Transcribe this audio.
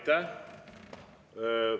Aitäh!